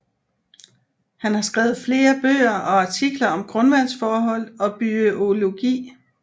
Han har skrevet flere bøger og artikler om grundvandsforhold og bygeologi